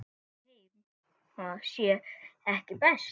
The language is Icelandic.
Ætli heima sé ekki best?